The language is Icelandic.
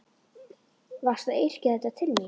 Varstu að yrkja þetta til mín?